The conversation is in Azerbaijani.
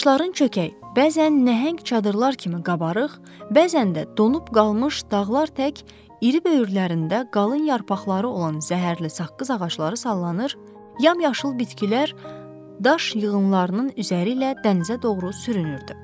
Daşların çökəyi, bəzən nəhəng çadırlar kimi qabarıq, bəzən də donub qalmış dağlar tək iri böyürlərində qalın yarpaqları olan zəhərli saqqız ağacları sallanır, yamyaşıl bitkilər daş yığınlarının üzəri ilə dənizə doğru sürünürdü.